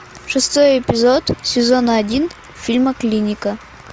шестой эпизод сезона один фильма клиника